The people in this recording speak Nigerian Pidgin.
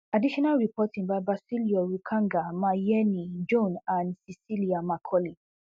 additional reporting by basillioh rukanga mayeni jone and cecilia macaulay